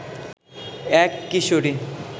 এক কিশোরী